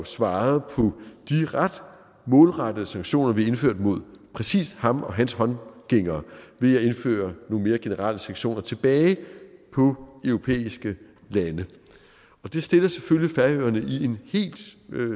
svaret på de ret målrettede sanktioner vi indførte mod præcis ham og hans håndlangere ved at indføre nogle mere generelle sanktioner tilbage på europæiske lande og det stiller selvfølgelig færøerne i en helt